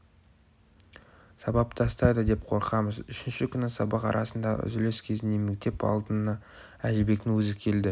сабап тастайды деп қорқамыз үшінші күні сабақ арасындағы үзіліс кезінде мектеп алдына әжібектің өзі келді